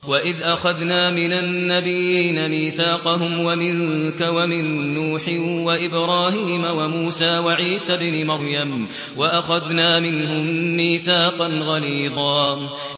وَإِذْ أَخَذْنَا مِنَ النَّبِيِّينَ مِيثَاقَهُمْ وَمِنكَ وَمِن نُّوحٍ وَإِبْرَاهِيمَ وَمُوسَىٰ وَعِيسَى ابْنِ مَرْيَمَ ۖ وَأَخَذْنَا مِنْهُم مِّيثَاقًا غَلِيظًا